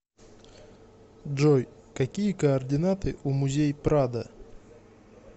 джой какие координаты у музей прадо